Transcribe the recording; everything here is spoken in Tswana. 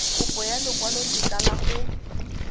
kopo ya lekwalotetla la go